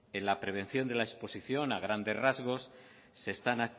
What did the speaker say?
en la prevención de la exposición a grandes rasgos se están